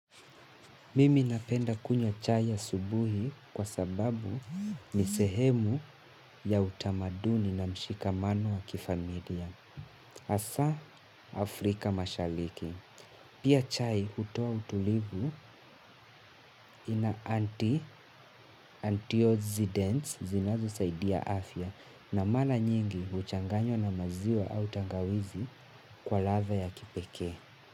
Mimi napenda kunywa chai asubuhi kwa sababu ni sehemu ya utamaduni na mshikamano wa kifamilia. Hasaa Afrika mashaliki. Pia chai hutoa utulivu ina anti-antiozident zinazosaidia afya na mala nyingi huchanganywa na maziwa au tangawizi kwa ladha ya kipekee.